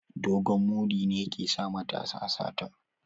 Dogon muri ne ke sa matasa sata